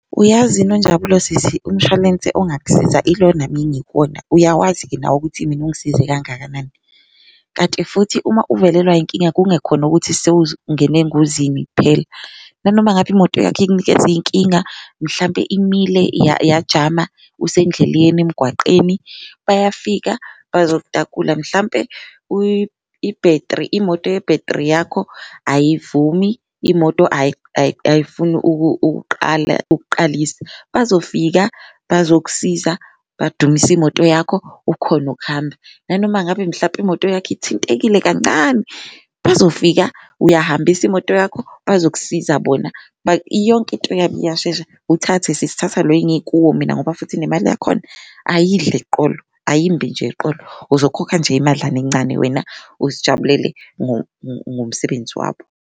Uyazi uNonjabulo sisi umshwalense ongakusiza ilona mina engikuwona uyawazi-ke nawe ukuthi mina ungisize kangakanani, kanti futhi uma uvelelwa inkinga kungekho khona ukuthi engozini kuphela nanoma ngaba imoto yakho ikunikeza iy'nkinga mlampe imile yajama usendleleni emgwaqeni. Bayafika bazokutakula mhlampe ibhethri imoto yebhethri yakho ayivumi, imoto ayifuni ukuqala ukuqalisa bazofika bazokusiza badumise imoto yakho ukhone ukuhamba, nanoma ngabe mhlampe imoto yakho ithintekile kancane bazofika. Uyahambisa imoto yakho bazokusiza bona yonke into yabo iyashesha, uthathe sisi thatha lo engikuwo mina ngoba futhi nemali yakhona ayidli eqolo ayimbi nje eqolo, uzokhokha nje imadlana encane wena azijabulele ngomsebenzi wabo.